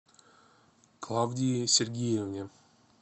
клавдии сергеевне